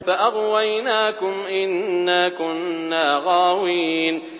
فَأَغْوَيْنَاكُمْ إِنَّا كُنَّا غَاوِينَ